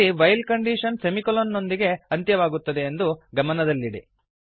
ಇಲ್ಲಿ while condition semicolon ನೋದಿಗೆ ಅಂತ್ಯವಾಗುತ್ತದೆ ಎಂದು ಗಮನದಲ್ಲಿಡಿ